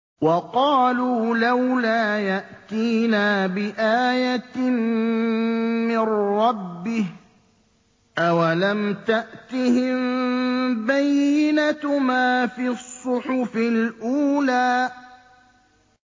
وَقَالُوا لَوْلَا يَأْتِينَا بِآيَةٍ مِّن رَّبِّهِ ۚ أَوَلَمْ تَأْتِهِم بَيِّنَةُ مَا فِي الصُّحُفِ الْأُولَىٰ